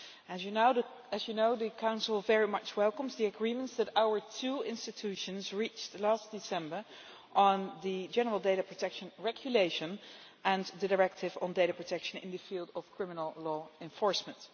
As you know, the Council very much welcomes the agreements that our two institutions reached last December on the General Data Protection Regulation and the directive on data protection in the field of criminal law enforcement.